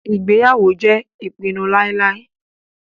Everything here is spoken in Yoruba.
Ìgbéyàwó jẹ́ ìpinu láíláí.